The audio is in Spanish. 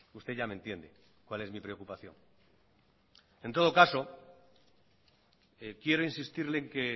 usted ya me entiende cuál es mi preocupación en todo caso quiero insistirle en que